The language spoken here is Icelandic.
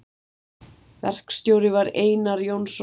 Verkstjóri var Einar Jónsson Leó.